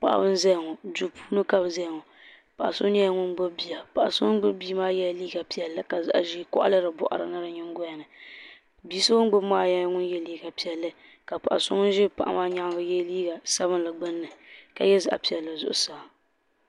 paɣ' ban zaya ŋɔ do puuni ka be zaya ŋɔ paɣ' so nyɛla ŋɔ bia paɣ' so ŋɔ gbabi bia maa yɛla liga piɛli ka zaɣ ʒiɛ kaɣili di boɣirini mi di myɛgolini bia so ogbabi maa yɛla liga piɛli paɣ' so ŋɔ ʒɛ bia gbani maa yɛ liga sabinli gbani ka yɛ zaɣ piɛli zuɣ saa